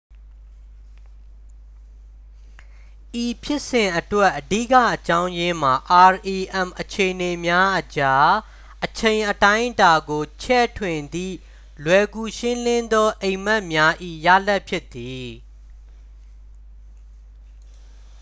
ဤဖြစ်စဉ်အတွက် အဓိကအကြောင်းရင်းမှာ rem အခြေအနေများအကြား အချိန်အတိုင်းအတာကို ချဲ့ထွင်သည့် လွယ်ကူရှင်းလင်းသောအိမ်မက်များ၏ ရလာဒ်ဖြစ်သည်